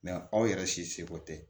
aw yɛrɛ si seko tɛ